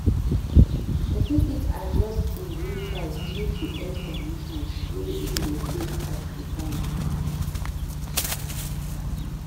Pesin fit adjust in breakfast due to health conditions wey in dey face at di time